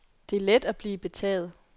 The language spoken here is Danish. Det er let at blive betaget.